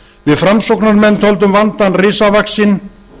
við framsóknarmenn töldum vandann risavaxinn